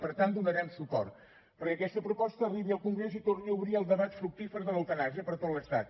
per tant donarem suport perquè aquesta proposta arribi al congrés i torni a obrir el debat fructífer de l’eutanàsia per tot l’estat